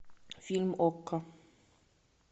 фильм окко